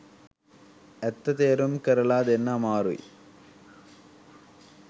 ඇත්ත තේරුම් කරලා දෙන්න අමාරුයි.